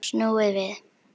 Snúið við!